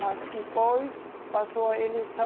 Mas depois passou a eleição,